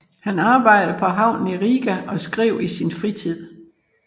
Han arbejdede på havnen i Riga og skrev i sin fritid